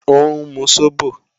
Ó ń mu sóbò